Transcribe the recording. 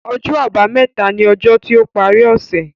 Ọjọ́ àbámẹ̀ta ni ọjọ́ tí ó parí ọ̀ṣẹ̀